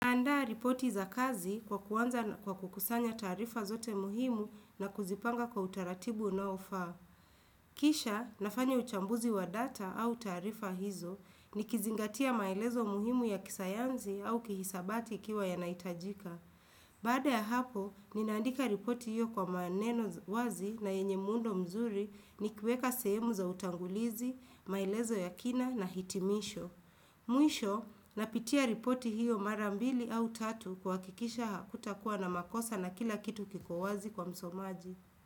Naandaa ripoti za kazi kwa kuanza kwa kukusanya taarifa zote muhimu na kuzipanga kwa utaratibu unaofaa. Kisha, nafanya uchambuzi wa data au taarifa hizo, ni kizingatia maelezo muhimu ya kisayanzi au kihisabati ikiwa yanaitajika. Baada ya hapo, ninaandika ripoti hiyo kwa maneno wazi na yenye muundo mzuri nikiweka sehemu za utangulizi, maelezo ya kina na hitimisho. Mwisho, napitia ripoti hiyo marambili au tatu kuwakikisha hakutakuwa na makosa na kila kitu kiko wazi kwa msomaji.